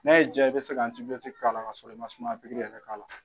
N'a y'i diya i bɛ se ka k'a la kasɔrɔ i ma sumaya pikiri yɛrɛ k'a la